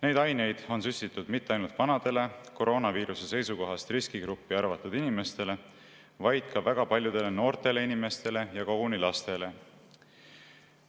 Neid aineid on süstitud mitte ainult vanadele, koroonaviiruse seisukohast riskigruppi arvatud inimestele, vaid ka väga paljudele noortele inimestele ja koguni lastele.